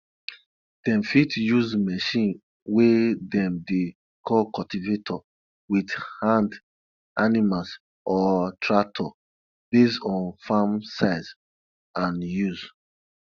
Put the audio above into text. dem fit use machine we dem dey call cultivator wit hand animals or tractor based on farm size and use